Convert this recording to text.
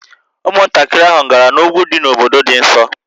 Ụmụntakịrị ahụ gara n'úgwú dị n'obodo dị nso